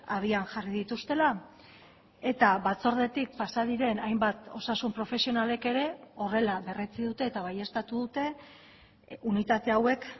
abian jarri dituztela eta batzordetik pasa diren hainbat osasun profesionalek ere horrela berretsi dute eta baieztatu dute unitate hauek